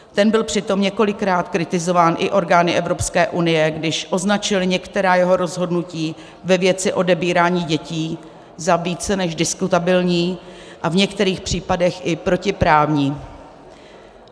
Ten byl přitom několikrát kritizován i orgány Evropské unie, když označil některá jeho rozhodnutí ve věci odebírání dětí za více než diskutabilní a v některých případech i protiprávní.